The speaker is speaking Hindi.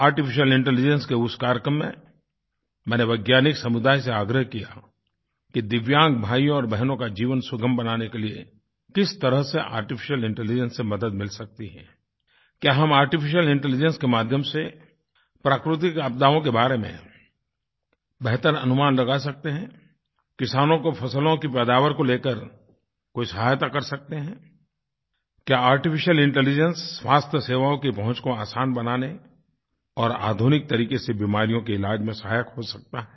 आर्टिफिशियल इंटेलिजेंस के उस कार्यक्रम में मैंने वैज्ञानिक समुदाय से आग्रह किया कि दिव्यांग भाइयों और बहनों का जीवन सुगम बनाने के लिए किस तरह से आर्टिफिशियल इंटेलिजेंस से मदद मिल सकती है क्या हम आर्टिफिशियल इंटेलिजेंस के माध्यम से प्राकृतिक आपदाओं के बारे में बेहतर अनुमान लगा सकते हैं किसानों को फ़सलों की पैदावार को लेकर कोई सहायता कर सकते हैं क्या आर्टिफिशियल इंटेलिजेंस स्वास्थ्य सेवाओं की पहुँच को आसान बनाने और आधुनिक तरीक़े से बीमारियों के इलाज़ में सहायक हो सकता है